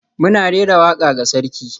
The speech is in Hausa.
Muna rera waka ga sarki.